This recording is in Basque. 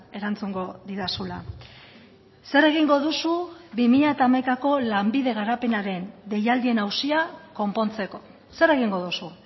erantzungo didazula zer egingo duzu bi mila hamaikako lanbide garapenaren deialdien auzia konpontzeko zer egingo duzu